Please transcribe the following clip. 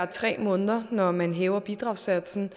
tre måneder når man hæver bidragssatsen